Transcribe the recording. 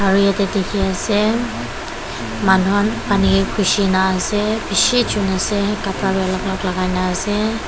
aro yete dikhi asey manuhan pani geh gushi na asey bishi jun asey lagai na asey.